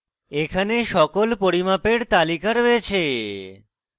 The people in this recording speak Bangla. এখানে সকল পরিমাপের তালিকা রয়েছে